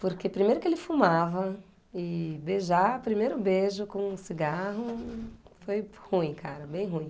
Porque primeiro que ele fumava, e beijar, primeiro beijo com um cigarro, foi ruim, cara, bem ruim.